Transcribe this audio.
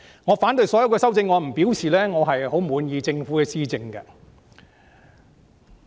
我反對所有修正案並不代表我十分滿意政府的施政。